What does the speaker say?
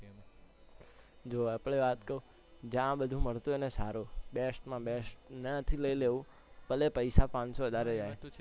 જો આપણે વાત કઉ જ્યાં બધુ મળતું હોય ને સારું best માં best ત્યાં થી લઇ લેવું ભલે પૈસા પાંચસો વધારે જાયે